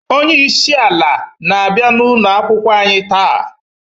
Onyeisi ala na abia n'ụkoakwukwọ anyi taa.